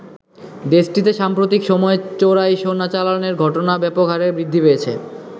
দেশটিতে সাম্প্রতিক সময়ে চোরাই সোনা চালানের ঘটনা ব্যাপক হারে বৃদ্ধি পেয়েছে।